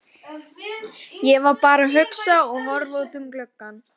Ég var bara að hugsa og horfa út um gluggann.